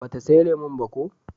ba ta saya lemun ba ko?